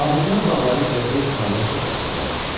Lahican bağları körpə İsmayılın çox xoşuna gəlmişdi.